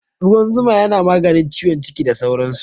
Ruwan zuma yana maganin ciwon ciki da sauran su